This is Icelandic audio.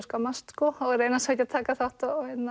skammast og reyna svo ekki að taka þátt